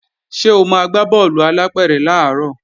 Ṣé o máa gbá bọ́ọ̀lù alápẹ̀rẹ̀ làárọ̀